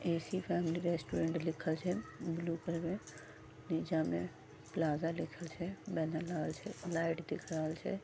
AC. Family restaurant लिखल छै blue colour में निचा में प्लाजा लिखल छै बैनर लागल छै लाइट दिख रहल छै।